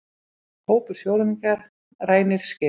Hópur sjóræningja rænir skipi